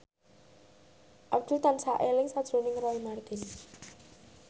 Abdul tansah eling sakjroning Roy Marten